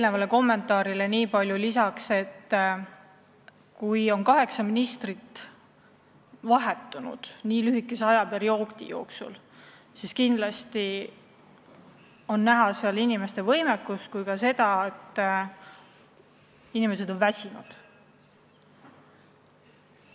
Teie kommentaarile ütlen nii palju lisaks, et kui lühikese aja jooksul on vahetunud kaheksa ministrit, siis kindlasti räägib see inimeste võimekusest ja ka sellest, et inimesed on väsinud.